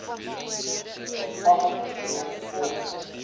ag geneem word